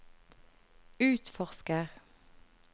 utforsker